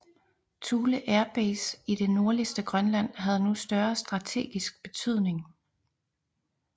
Thule Air Base i det nordligste Grønland havde nu større strategisk betydning